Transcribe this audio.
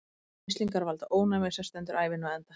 Mislingar valda ónæmi, sem stendur ævina á enda.